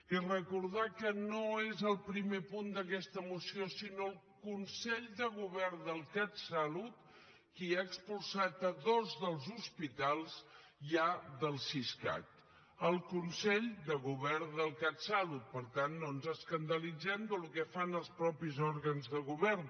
i recordar que no és el primer punt d’aquesta moció sinó el consell de govern del catsalut qui ha expulsat dos dels hospitals ja del siscat el consell de govern del catsalut per tant no ens escandalitzem del que fan els mateixos òrgans de govern